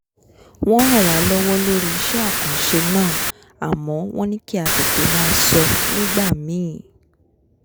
wọ́n ràn wá lọ́wọ́ lórí iṣẹ́ àkanṣe náà àmọ́ wọ́n ní kí a tètè máa sọ nígbà míì